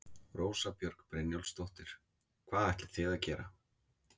Rósa Björg Brynjólfsdóttir: Hvað ætlið þið að gera?